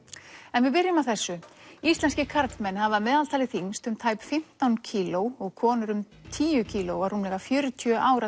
en við byrjum á þessu íslenskir karlmenn hafa að meðaltali þyngst um tæp fimmtán kíló og konur um tíu kíló á rúmlega fjörutíu ára